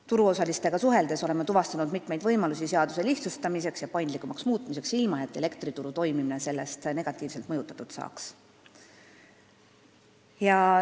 Turuosalistega suheldes oleme tuvastanud mitmeid võimalusi seaduse lihtsustamiseks ja paindlikumaks muutmiseks, ilma et elektrituru toimimine sellest negatiivselt mõjutatud saaks.